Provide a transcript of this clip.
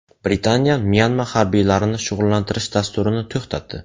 Britaniya Myanma harbiylarini shug‘ullantirish dasturini to‘xtatdi.